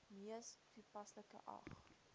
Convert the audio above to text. mees toepaslike ag